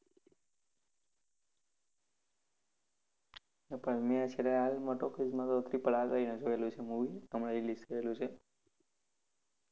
પણ મેં છેલ્લે હાલમાં talkies માં તો triple R કરીને જોયું છે movie હમણાં release કરેલું છે.